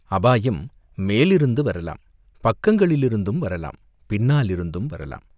அபாயம் மேலிருந்து வரலாம், பக்கங்களிலிருந்தும் வரலாம், பின்னாலிருந்தும் வரலாம்.